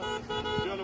Gəlir.